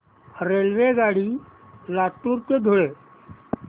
रेल्वेगाडी लातूर ते धुळे